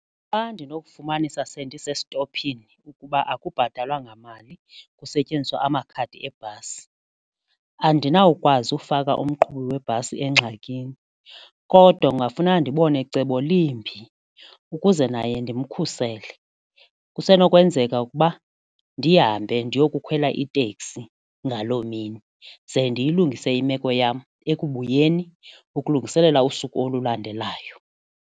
Xa ndinokufumanisa sendisestophini ukuba akubhatalwa ngamali kusetyenziswa amakhadi ebhasi andinawukwazi ufaka umqhubi webhasi engxakini kodwa kungafuneka ndibone cebo limbi ukuze naye ndimkhuthazele, kusenokwenzeka ukuba ndihambe ndiyokukhwela itekisi ngaloo mini ze ndiyilungise imeko yam ekubuyeni ukulungiselela kusuku olulandelayo.